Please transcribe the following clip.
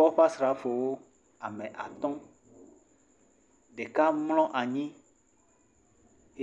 Kɔƒe asrafowo ame atɔ̃, ɖeka mlɔ anyi